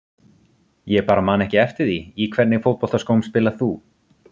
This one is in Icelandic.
Ég bara man ekki eftir því Í hvernig fótboltaskóm spilar þú?